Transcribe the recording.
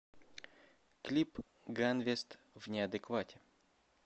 клип ганвест в неадеквате